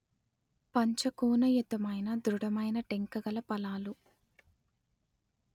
పంచకోణయుతమైన ధృఢమైన టెంక గల ఫలాలు